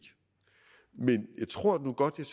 men jeg tror nu godt jeg